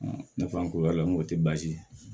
nafa ko y'a la n ko tɛ baasi ye